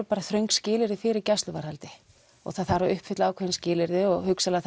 bara þröng skilyrði fyrir gæsluvarðhaldi og það þarf að uppfylla ákveðin skilyrði og hugsanlega